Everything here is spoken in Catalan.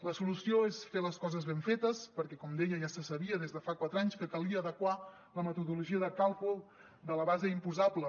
la solució és fer les coses ben fetes perquè com deia ja se sabia des de fa quatre anys que calia adequar la metodologia de càlcul de la base imposable